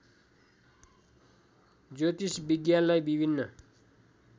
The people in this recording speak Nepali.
ज्योतिष विज्ञानलाई विभिन्न